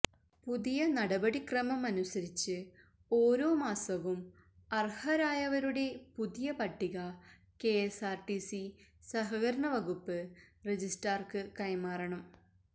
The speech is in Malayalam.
പുതിയ നടപടിക്രമമനുസരിച്ച് ഓരോ മാസവും അര്ഹരായവരുടെ പുതിയ പട്ടിക കെ എസ്ആര്ടിസി സഹകരണവകുപ്പ് രജിസ്റ്റാര്ക്ക് കൈമാറണം